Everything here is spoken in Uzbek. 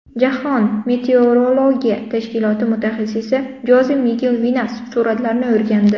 Jahon meteorologiya tashkiloti mutaxassissi Joze Migel Vinas suratlarni o‘rgandi.